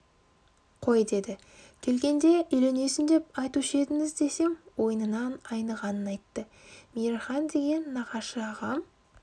қой деді келгенде үйленесің деп айтушы едіңіз десем ойынан айнығанын айтты мейірхан деген нағашы тағам